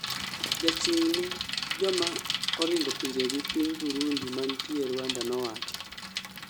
ja chung' ne joma oringo pinjegi piny Burundi mantie Rwanda nowacho?